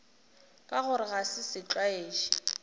ka gore ga se setlwaedi